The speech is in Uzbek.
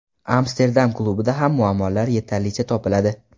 Amsterdam klubida ham muammolar yetarlicha topiladi.